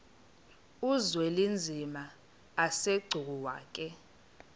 uzwelinzima asegcuwa ke